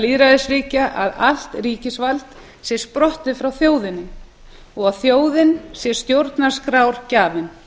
lýðræðisríkja að allt ríkisvald sé sprottið frá þjóðinni og að þjóðin sé stjórnarskrárgjafinn